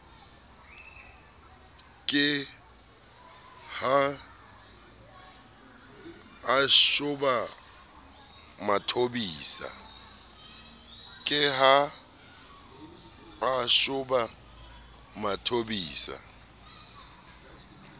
ke ha a shoba mathobisa